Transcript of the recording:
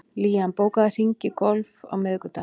Liam, bókaðu hring í golf á miðvikudaginn.